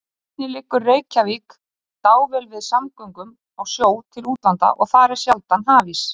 Einnig liggur Reykjavík dável við samgöngum á sjó til útlanda og þar er sjaldan hafís.